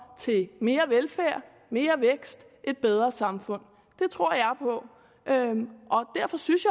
til mere velfærd mere vækst et bedre samfund det tror jeg på derfor synes